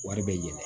Wari bɛ yɛlɛ